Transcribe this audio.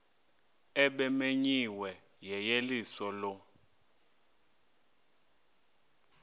ebimenyiwe yeyeliso lo